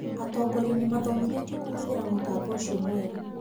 Atongoria nĩmathomithĩtio kũhũthĩra mũtambo ũcio mwerũ